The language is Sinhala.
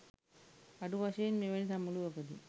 අඩු වශයෙන් මෙවැනි සමුළුවකදි